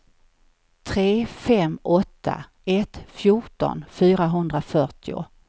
tre fem åtta ett fjorton fyrahundrafyrtio